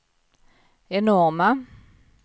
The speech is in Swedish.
enorma